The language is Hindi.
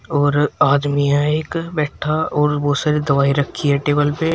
और आदमी है एक बैठा और बहोत सारी दवाई रखी है टेबल पे।